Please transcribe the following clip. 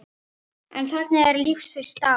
En þannig er lífsins gangur.